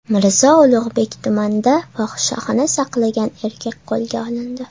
Mirzo Ulug‘bek tumanida fohishaxona saqlagan erkak qo‘lga olindi.